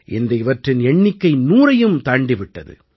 இன்று இவற்றின் எண்ணிக்கை நூறையும் தாண்டி விட்டது